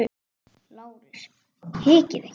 LÁRUS: Hikið ekki!